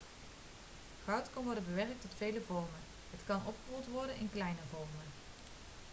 goud kan worden bewerkt tot vele vormen het kan opgerold worden in kleine vormen